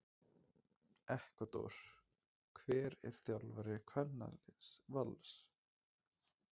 Ekvador Hver er þjálfari kvennaliðs Vals?